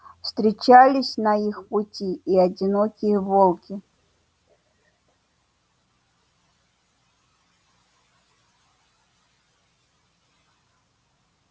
встречались на их пути и одинокие волки